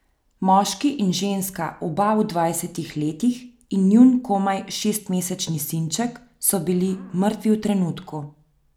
Moški in ženska, oba v dvajsetih letih, in njun komaj šestmesečni sinček so bili mrtvi v trenutku.